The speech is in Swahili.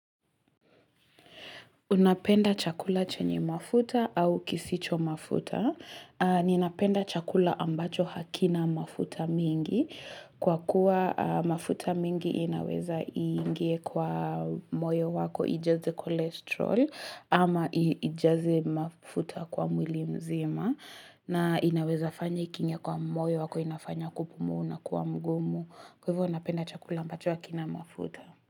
Unapenda chakula chenye mafuta au kisicho mafuta. Ninapenda chakula ambacho hakina mafuta mengi. Kwa kuwa mafuta mengi inaweza iingie kwa moyo wako ijaze kolesterol ama ijaze mafuta kwa mwili mzima. Na inaweza fanya ikinye kwa moyo wako inafanya kupumu na kuwa mgumu. Kwa hivyo unapenda chakula ambacho hakina mafuta.